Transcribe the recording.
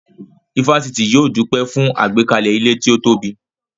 Ifásitì yóò dúpẹ́ fún àgbékalẹ̀ ilé tí ó tóbi